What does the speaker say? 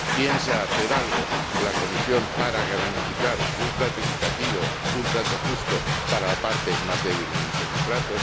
¿Piensa hacer algo la Comisión para garantizar un trato equitativo, un trato justo para la parte más débil en este contrato?